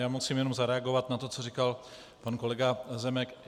Já musím jenom zareagovat na to, co říkal pan kolega Zemek.